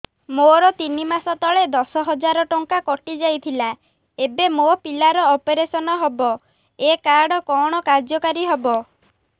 ମୋର ତିନି ମାସ ତଳେ ଦଶ ହଜାର ଟଙ୍କା କଟି ଯାଇଥିଲା ଏବେ ମୋ ପିଲା ର ଅପେରସନ ହବ ଏ କାର୍ଡ କଣ କାର୍ଯ୍ୟ କାରି ହବ